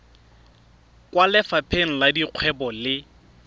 kwa lefapheng la dikgwebo le